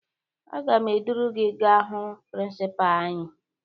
Aga m eduru gị gaa hụ prịnsịpaa anyị